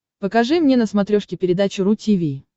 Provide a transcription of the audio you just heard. покажи мне на смотрешке передачу ру ти ви